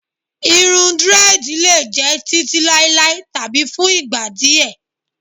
Irun drẹ́ẹ̀dì lè jẹ́ títí láéláé tàbí fún ìgbà díẹ̀.